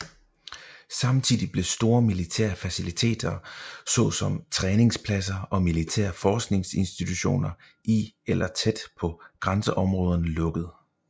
Samtidig blev store militære faciliteter såsom træningspladser og militære forskningsinstitutioner i eller tæt på grænseområderne lukket